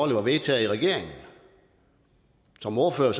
det var vedtaget af regeringen som ordfører